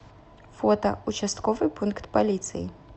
фото участковый пункт полиции